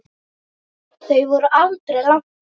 Þau voru aldrei langt undan.